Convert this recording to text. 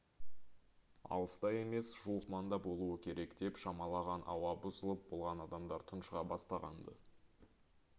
алыста емес жуық маңда болуы керек деп шамалаған ауа бұзылып болған адамдар тұншыға бастаған-ды